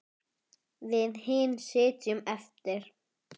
Við hin sitjum eftir.